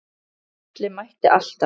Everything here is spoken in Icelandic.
Atli mætti alltaf.